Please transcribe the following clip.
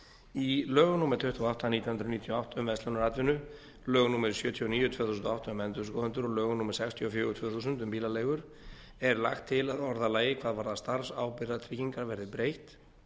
í lögum númer tuttugu og átta nítján hundruð níutíu og átta um verslunaratvinnu lögum númer sjötíu og níu tvö þúsund og átta um endurskoðendur og lögum númer sextíu og fjögur tvö þúsund um bílaleigur er lagt til að orðalagi hvað varðar starfsábyrgðartryggingar verði breytt